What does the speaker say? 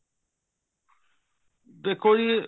ਦੇਖੋ ਜੀ